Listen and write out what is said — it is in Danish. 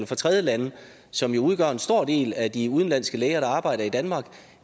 fra tredjelande som udgør en stor del af de udenlandske læger der arbejder i danmark